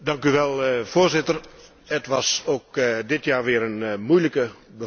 Voorzitter, het was ook dit jaar weer een moeilijke bevalling.